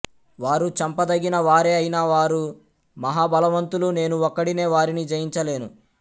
వారు చంపదగిన వారే అయినా వారు మహాబలవంతులు నేను ఒక్కడినే వారిని జయించ లేను